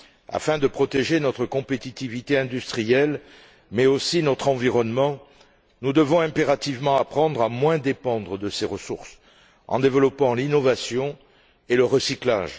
Afin de protéger notre compétitivité industrielle, mais aussi notre environnement, nous devons impérativement apprendre à moins dépendre de ces ressources, en développant l'innovation et le recyclage.